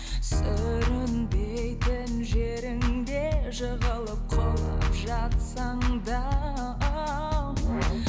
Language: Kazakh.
сүрінбейтін жеріңде жығылып құлап жатсаң да